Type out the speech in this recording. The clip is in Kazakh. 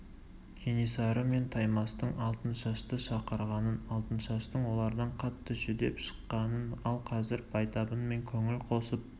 кенесары мен таймастың алтыншашты шақырғанын алтыншаштың олардан қатты жүдеп шыққанын ал қазір байтабынмен көңіл қосып